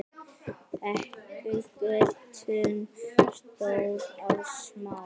Þekur götin stór og smá.